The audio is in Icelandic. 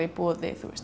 í boði